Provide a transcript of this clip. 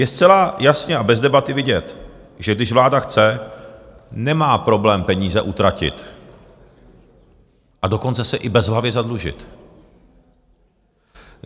Je zcela jasně a bez debaty vidět, že když vláda chce, nemá problém peníze utratit, a dokonce se i bezhlavě zadlužit.